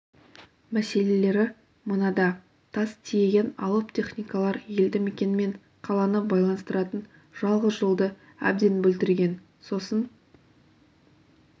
мәселелері мынада тас тиеген алып техникалар елді мекен мен қаланы байланыстыратын жалғыз жолды әбден бүлдірген сосын